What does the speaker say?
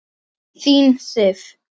Þín Sif.